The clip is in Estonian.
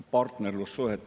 Kolm minutit lisaaega, palun!